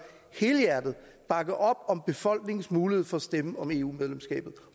helhjertet bakke op om befolkningens mulighed for at stemme om eu medlemskabet